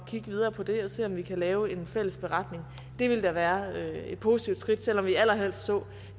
at kigge videre på det og se om vi kan lave en fælles beretning det ville da være et positivt skridt selv om vi allerhelst så